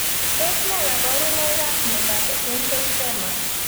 Tos ne kaborunoikab miondop essential tremor?